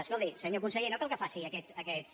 escolti senyor conseller no cal que faci aquests